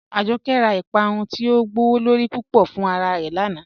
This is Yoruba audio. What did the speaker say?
Ajọkẹ̀ rá Ìpàrún ti o gbọwọ́lorí púpọ̀ fún ara rẹ́ lánà.